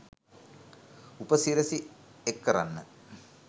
උප සිරසි එක් කරන්න